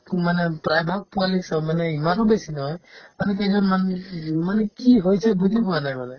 একো মানে প্ৰায়ভাগ পোৱালি চোৱা মানে ইমানো বেছি নহয় আমি কেইজন মানুহ মানে কি হৈছে বুজি পোৱা নাই মানে